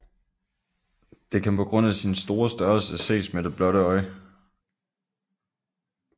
Det kan på grund af sin store størrelse ses med det blotte øje